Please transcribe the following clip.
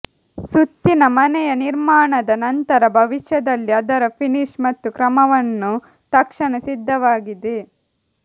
ಸುತ್ತಿನ ಮನೆಯ ನಿರ್ಮಾಣದ ನಂತರ ಭವಿಷ್ಯದಲ್ಲಿ ಅದರ ಫಿನಿಶ್ ಮತ್ತು ಕ್ರಮವನ್ನು ತಕ್ಷಣ ಸಿದ್ಧವಾಗಿದೆ